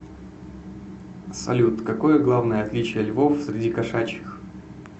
салют какое главное отличие львов среди кошачьих